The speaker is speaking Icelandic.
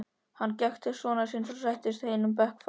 Hann gekk til sonar síns og settist einum bekk framar.